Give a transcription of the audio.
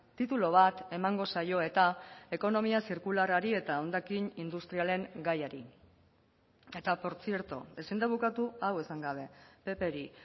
titulu bat emango zaio eta ekonomia zirkularrari eta hondakin industrialen gaiari eta portzierto ezin da bukatu hau esan gabe ppri